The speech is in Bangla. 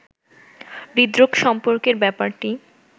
হৃদরোগ সম্পর্কের ব্যাপারটি